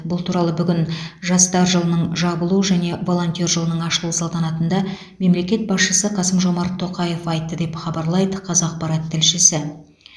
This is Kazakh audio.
бұл туралы бүгін жастар жылының жабылу және волонтер жылының ашылу салтанатында мемлекет басшысы қасым жомарт тоқаев айтты деп хабарлайды қазақпарат тілшісі